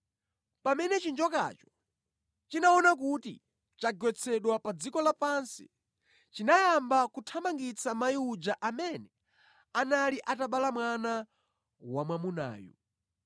Pamene chinjokacho chinaona kuti chagwetsedwa pa dziko lapansi, chinayamba kuthamangitsa mayi uja amene anali atabala mwana wamwamunayu.